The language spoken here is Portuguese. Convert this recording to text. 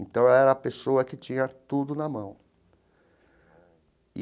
Então, ela era a pessoa que tinha tudo na mão.